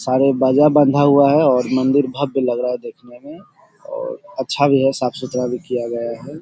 सारे बाजा बंधा हुआ है और मंदिर भव्य लग रहा है देखने में और अच्छा भी है साफ़ सुथरा भी किया गया है।